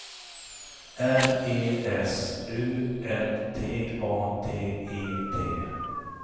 R E S U L T A T E T